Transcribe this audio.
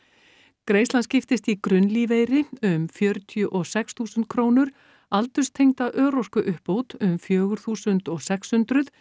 greiðslan skiptist í grunnlífeyri um fjörutíu og sex þúsund krónur aldurstengda örorkuuppbót um fjögur þúsund og sexhundruð